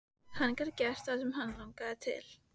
Hann gat gert það sem hann langaði til.